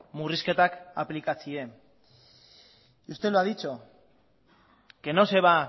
murrizketak aplikatzea y usted lo ha dicho que no se va